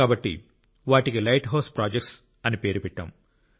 కాబట్టి వాటికి light house projects అని పేరు పెట్టాం